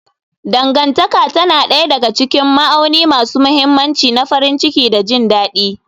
Dangantaka tana ɗaya daga cikin ma'auni masu mahimmanci na farin ciki da jin daɗi.